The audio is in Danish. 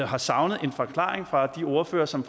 har savnet en forklaring fra de ordførere som